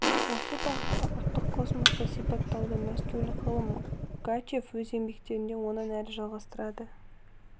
осы бағытта ұлттық космосты сипаттауды мәскеулік ғалым гачев өз еңбектерінде онан әрі жалғастырады